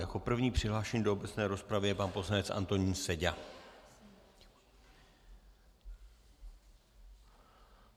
Jako první přihlášený do obecné rozpravy je pan poslanec Antonín Seďa.